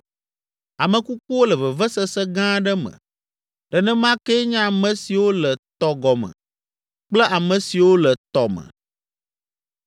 “Ame kukuwo le vevesese gã aɖe me, nenema kee nye ame siwo le tɔ gɔme kple ame siwo le tɔ me.